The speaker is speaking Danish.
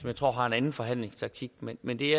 jeg tror har en anden forhandlingstaktik men men det